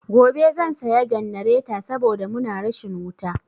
Gobe zan saya jannareta saboda muna rashin wuta.